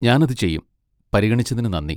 ഞാൻ അത് ചെയ്യും, പരിഗണിച്ചതിന് നന്ദി!